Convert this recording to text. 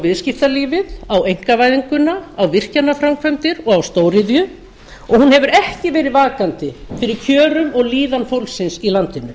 viðskiptalífið á einkavæðinguna á virkjanaframkvæmdir og á stóriðju og hún hefur ekki verið vakandi fyrir kjörum og líðan fólksins í landinu